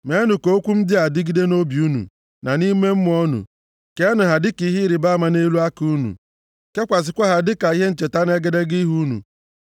Meenụ ka okwu m ndị a dịgide nʼobi unu na nʼime mmụọ unu. Keenụ ha dịka ihe ịrịbama nʼelu aka unu, kekwasịkwa ha dịka ihe ncheta nʼegedege ihu unu.